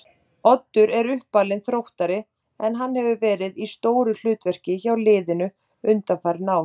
Oddur er uppalinn Þróttari en hann hefur verið í stóru hlutverki hjá liðinu undanfarin ár.